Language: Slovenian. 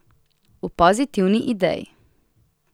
V pozitivni ideji.